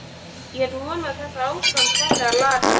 Ég vona að þetta ástand fari að lagast.